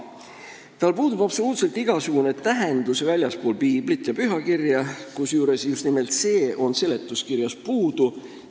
Tal puudub absoluutselt igasugune tähendus väljaspool piiblit ja pühakirja, kusjuures just nimelt see on seletuskirjast puudu.